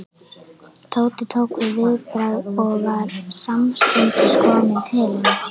Tóti tók viðbragð og var samstundis kominn til hennar.